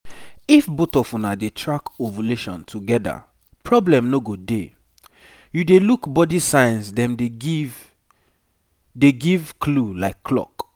this natural style no be one-man show um you go need carry your person um along and una go dey observe body movement wella